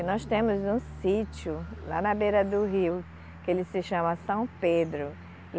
E nós temos um sítio lá na beira do rio, que ele se chama São Pedro.